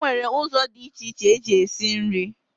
E nwere ụzọ dị iche iche eji esi nri.